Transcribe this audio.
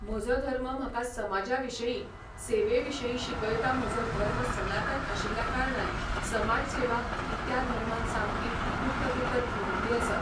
म्हजो धर्म म्हाका समाजा विशयी, सेवे विशयी शिकयता म्हजो धर्म सनातन आशिल्या कारणान समाज सेवा ही त्या धर्मान सामकी कुट्ट कुटत भरिल्ली आसा